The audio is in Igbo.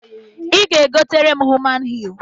I ga-egotara m human hee!